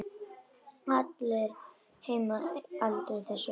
Allir heima aldrei þessu vant.